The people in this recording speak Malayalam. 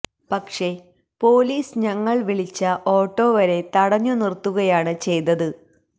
പക്ഷെ പോലീസ് ഞങ്ങള് വിളിച്ച ഓട്ടോ വരെ തടഞ്ഞു നിര്ത്തുകയാണ് ചെയ്തത്